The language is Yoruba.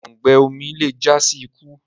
òùngbẹ omí le já sí ikú